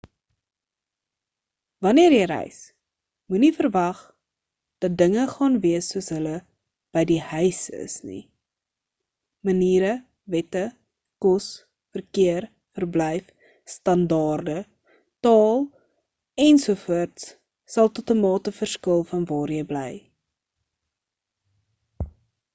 wanneer jy reis moenie verwag dat dinge gaan wees soos hulle by die huis is nie maniere wette kos verkeer verblyf standaarde taal en so voorts sal tot 'n mate verskil van waar jy bly